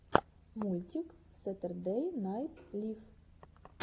мультик сэтердэй найт лив